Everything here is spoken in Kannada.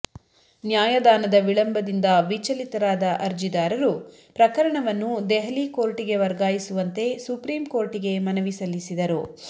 ನ್ಯಾಯದಾನದ ವಿಳಂಬದಿಂದ ವಿಚಲಿತರಾದ ಅರ್ಜಿದಾರರು ಪ್ರಕರಣವನ್ನು ದೆಹಲಿ ಕೋರ್ಟಿಗೆ ವರ್ಗಾಯಿಸುವಂತೆ ಸುಪ್ರೀಂ ಕೋರ್ಟಿಗೆ ಮನವಿ ಸಲ್ಲಿಸಿದರು